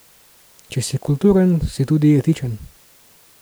Če si kulturen, si tudi etičen.